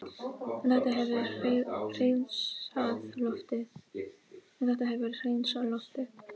En þetta hefur hreinsað loftið